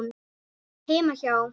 Heima hjá